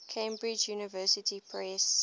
cambridge university press